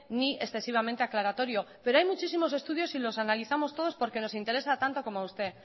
ni excesivamente aclaratorio pero hay muchísimos estudios y los analizamos todos porque nos interesa tanto como a usted